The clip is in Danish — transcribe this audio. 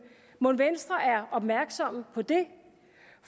mon venstre er opmærksomme på det